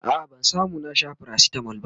a'a ba zan Sha paracetamol ba